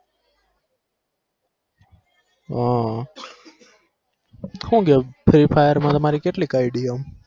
હા હું કેવું free fire માં તમારી કેટલીક id આમ